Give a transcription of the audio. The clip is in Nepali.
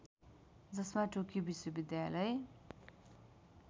जसमा टोकियो विश्वविद्यालय